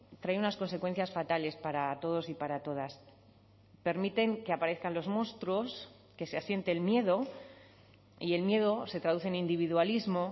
trae unas consecuencias fatales para todos y para todas permiten que aparezcan los monstruos que se asiente el miedo y el miedo se traducen individualismo